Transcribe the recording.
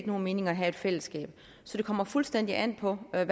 nogen mening at have et fællesskab så det kommer fuldstændig an på hvad